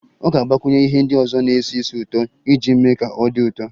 Ọ ga-agbakwunye ihe ndị ọzọ na-esi ísì ụtọ iji mee ka ọ dị ụtọ